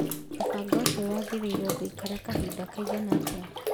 Mũbango ũcio wĩrĩgĩrĩirwo gũikara kahinda kaigana atĩa?